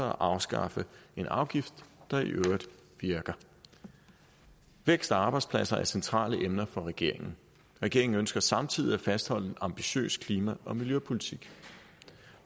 at afskaffe en afgift der i øvrigt virker vækst og arbejdspladser er centrale emner for regeringen regeringen ønsker samtidig at fastholde en ambitiøs klima og miljøpolitik